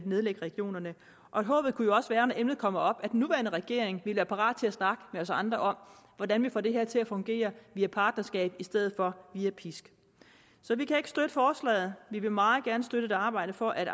nedlægge regionerne håbet kunne jo også være når emnet kommer op at den nuværende regering vil være parat til at snakke med os andre om hvordan vi får det her til at fungere via partnerskab i stedet for via pisk så vi kan ikke støtte forslaget vi vil meget gerne støtte og arbejde for at